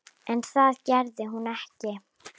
En það gerði hún ekki.